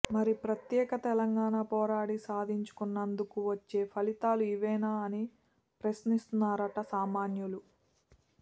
మరి ప్రత్యేక తెలంగాణ పోరాడి సాధించుకున్నందుకు వచ్చే ఫలితాలు ఇవేనా అని ప్రశ్నిస్తున్నారట సామాన్యులు